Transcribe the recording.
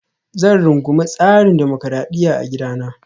Zan rungumi tsarin dimokuradiyya a gidana